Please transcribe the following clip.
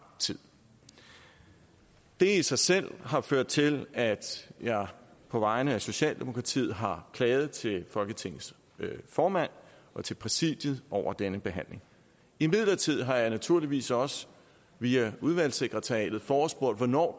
tid det i sig selv har ført til at jeg på vegne af socialdemokratiet har klaget til folketingets formand og til præsidiet over denne behandling imidlertid har jeg naturligvis også via udvalgssekretariatet forespurgt hvornår